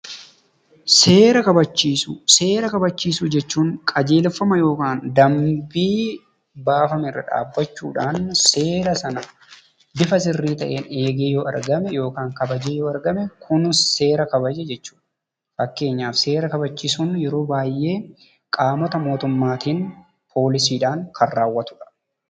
Seera kabachiisuu: Seera kabachiisuu jechuun qajeelfama yokaan dambii baafamerra dhaabbachuudhaan seera sana bifa sirrii ta'een eegee yoo argame yokaan kabajee yoo argame kun seera kabaje jechuudha. Fakkeenyaf seera kabachiisun yeroo baay'ee qaamota mootummaatiin poolisiidhaan kan raawwatudha.